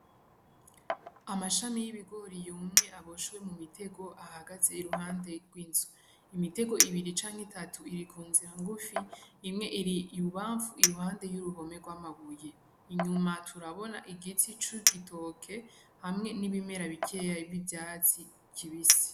Amashami y'ibigori yumye aboshewe mu mitego ahagaze iruhande rw'inzu, imitego ibiri canke itatu iri ku nzira ngufi imwe iri ibubamfu iruhande y'uruhome rw'amabuye, inyuma turabona igiti c'igitoke hamwe n'ibimera bikeya by'ivyatsi kibisi.